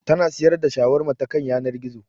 Ta na siyar da Shawarma ta kan yanar gizo